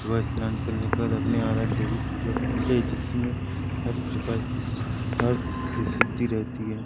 तो इसमें हमको निकर अपने आराध्य देवी पूजा करनी चाहिए जिसमे हर प्रकार की हर सि सिद्धि रहती है।